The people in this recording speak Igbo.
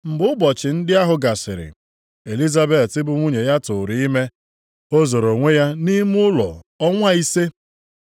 Mgbe ụbọchị ndị ahụ gasịrị, Elizabet bụ nwunye ya tụụrụ ime. O zoro onwe ya nʼime ụlọ ọnwa ise.